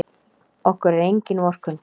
Okkur er engin vorkunn.